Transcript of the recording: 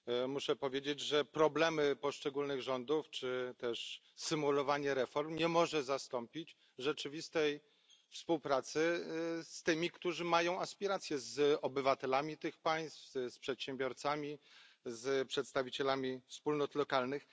Muszę powiedzieć, że problemy poszczególnych rządów czy symulowanie reform nie może zastąpić rzeczywistej współpracy z tymi, którzy mają aspiracje z obywatelami tych państw, z przedsiębiorcami, z przedstawicielami wspólnot lokalnych.